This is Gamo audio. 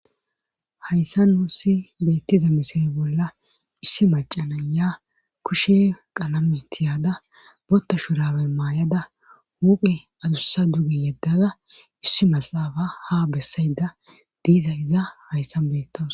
hayssa nuussi beettiza misire bolla issi macana ya kushe qalame tiyaada botta shurawe maayada huphe adussa dugi yeddada issi masaafa ha bessayda diiza iza hayssan beettos